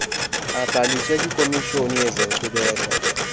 abhaliswe kwikomishoni yezenkcubeko